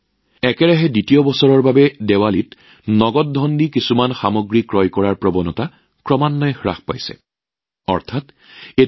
দীপাৱলী উপলক্ষে নগদ ধন পৰিশোধৰ জৰিয়তে কিছু সামগ্ৰী ক্ৰয় কৰাৰ ধাৰা ক্ৰমান্বয়ে হ্ৰাস পাইছে এইবাৰ একেৰাহে দ্বিতীয় বছৰ